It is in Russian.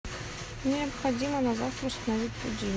необходимо на завтра установить будильник